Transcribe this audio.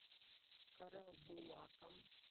карабулаком